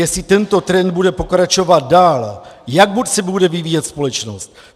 Jestli tento trend bude pokračovat dál, jak moc se bude vyvíjet společnost.